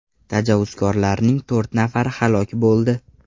Tajovuzkorlarning to‘rt nafari halok bo‘ldi.